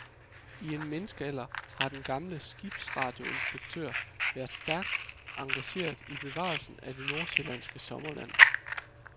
I en menneskealder har den gamle skibsradioinspektør været stærkt engageret i bevarelsen af det nordsjællandske sommerland.